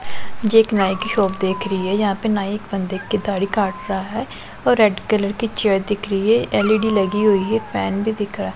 जे एक नाई की देख री है यहां पे नाई एक बंदे की दाढी काट रहा है और रैड कलर की चेयर दिख रही है एल_ई_डी लगी हुई है फैन भी दिख र--